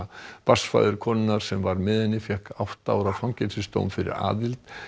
barnsfaðir konunnar sem var með henni fékk átta ára fangelsisdóm fyrir aðild